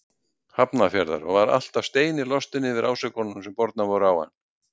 Hafnarfjarðar og var alltaf sem steinilostinn yfir ásökununum sem bornar voru á hann.